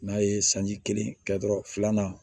N'a ye sanji kelen kɛ dɔrɔn filanan